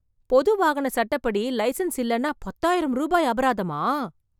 பொது வாகன சட்டப்படி, லைசன்ஸ் இல்லனா பத்தாயிரம் ரூபாய் அபராதமா ?